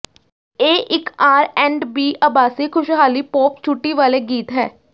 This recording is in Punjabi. ਇਹ ਇੱਕ ਆਰ ਐਂਡ ਬੀ ਆਭਾਸੀ ਖੁਸ਼ਹਾਲੀ ਪੌਪ ਛੁੱਟੀ ਵਾਲੇ ਗੀਤ ਹੈ